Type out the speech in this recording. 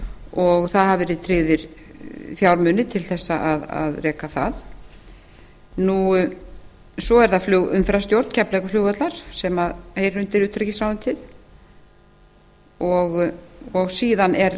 og það hafa verið tryggðir fjármunir til að reka það svo er það flugumferðarstjórn keflavíkurflugvallar sem heyrir undir utanríkisráðuneytið og síðan